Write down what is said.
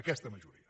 aquesta majoria